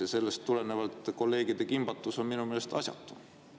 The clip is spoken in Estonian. Ja sellest tulenevalt kolleegide kimbatus on minu meelest asjatu.